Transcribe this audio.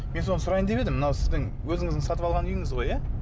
мен соны сұрайын деп едім мынау сіздің өзіңіздің сатып алған үйіңіз ғой иә